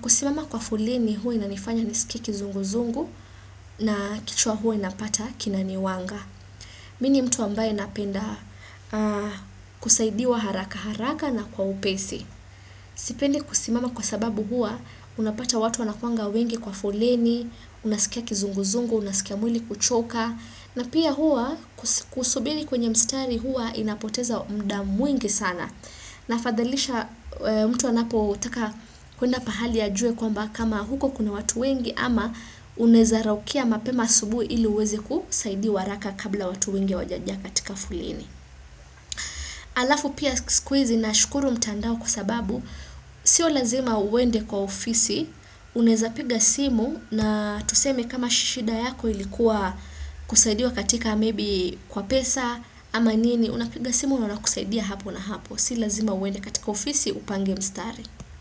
Kusimama kwa foleni huwa inanifanya nisikie kizunguzungu na kichwa huwa napata kinani wanga. Mi ni mtu ambaye napenda kusaidiwa haraka haraka na kwa upesi. Sipendi kusimama kwa sababu huwa unapata watu wanakuanga wengi kwa foleni, unasikia kizunguzungu, unasikia mwili kuchoka. Na pia hua kusubiri kwenye mstari hua inapoteza muda mwingi sana. Nafadhalisha mtu anapotaka kuenda pahali ajue kwamba kama huko kuna watu wengi ama unaeza raukia mapema asubuhi ili uweze kusaidiwa haraka kabla watu wengi hawajajaa katika foleni. Alafu pia siku hizi nashukuru mtandao kwa sababu, sio lazima uende kwa ofisi, unaeza piga simu na tuseme kama shida yako ilikuwa kusaidiwa katika maybe kwa pesa ama nini, unapiga simu na wanakusaidia hapo na hapo, si lazima uende katika ofisi upange mstari.